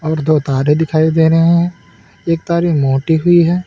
दो तारे दिखाई दे रहे हैं एक तार मोटी हुई है।